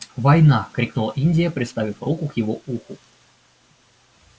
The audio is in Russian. война крикнула индия приставив руку к его уху